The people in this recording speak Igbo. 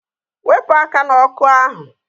Wepụ aka n'ọkụ ahụ!